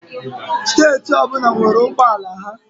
Steeti ọbụla nwere ụgbọala ha.